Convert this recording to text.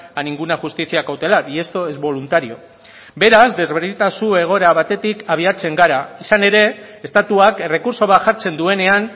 a ninguna justicia cautelar y esto es voluntario beraz desberdintasun egoera batetik abiatzen gara izan ere estatuak errekurtso bat jartzen duenean